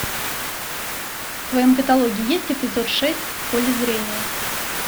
в твоем каталоге есть эпизод шесть в поле зрения